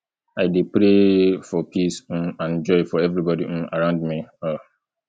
i dey dey pray for peace um and joy for everybody um around me um